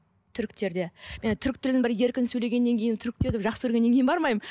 түріктерде мен түрік тілін бір еркін сөйлегеннен кейін түріктерді бір жақсы көргеннен кейін бармаймын